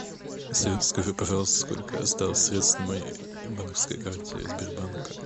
салют скажи пожалуйста сколько осталось средств на моей банковской карте сбербанка